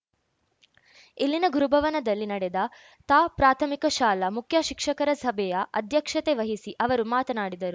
ಇಲ್ಲಿನ ಗುರುಭವನದಲ್ಲಿ ನಡೆದ ತಾ ಪ್ರಾಥಮಿಕ ಶಾಲಾ ಮುಖ್ಯ ಶಿಕ್ಷಕರ ಸಭೆಯ ಅಧ್ಯಕ್ಷತೆ ವಹಿಸಿ ಅವರು ಮಾತನಾಡಿದರು